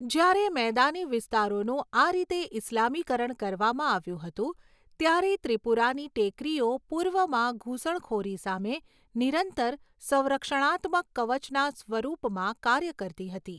જ્યારે મેદાની વિસ્તારોનું આ રીતે ઈસ્લામીકરણ કરવામાં આવ્યું હતું, ત્યારે ત્રિપુરાની ટેકરીઓ પૂર્વમાં ઘૂસણખોરી સામે નિરંતર સંરક્ષણાત્મક કવચના સ્વરૂપમાં કાર્ય કરતી હતી.